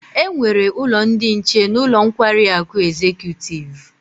E nwere ulo ndi nche n'ulo nkwari aku Executive